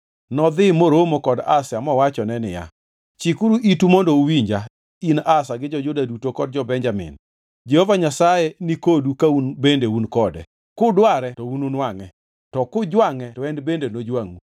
Nodhi moromo kod Asa mowachone niya, “Chikuru itu mondo uwinja, in Asa gi jo-Juda duto kod jo-Benjamin. Jehova Nyasaye nikodu ka un bende un kode, kudware to ununwangʼe, to kujwangʼe to en bende nojwangʼu.